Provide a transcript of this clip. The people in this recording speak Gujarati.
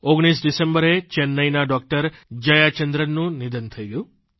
19 ડિસેમ્બરે ચેન્નાઇના ડૉકટર જયાચંદ્રનનું નિધન થઇ ગયું